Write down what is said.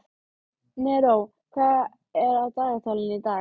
Neró, hvað er á dagatalinu í dag?